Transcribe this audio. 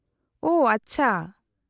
-ᱳᱦ , ᱟᱪᱪᱷᱟ ᱾